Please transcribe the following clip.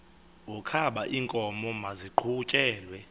wokaba iinkomo maziqhutyelwe